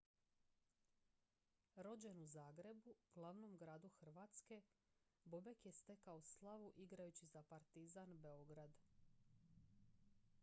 rođen u zagrebu glavnom gradu hrvatske bobek je stekao slavu igrajući za partizan beograd